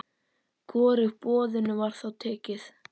Hvorugu boðinu var þá tekið.